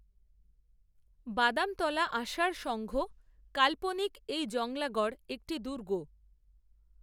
বাদামতলা আষাঢ় সঙ্ঘ, কাল্পনিক এই জংলাগড়, একটি দুর্গ